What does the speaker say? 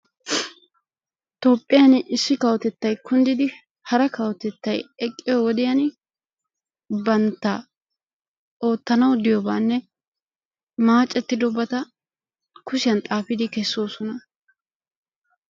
Toophiyaan issi kawotettay kunddidi hara kawotettay eqqiyo wodiyaan bantta ootanaw diyaa maacettidi kushiyaan xaafudi keessoosona.